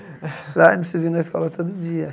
preciso vir na escola todo dia.